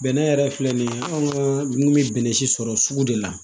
Bɛnɛ yɛrɛ filɛ nin ye anw ka dumuni bɛ bɛnɛ si sɔrɔ sugu de la